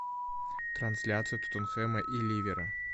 трансляция тоттенхэма и ливера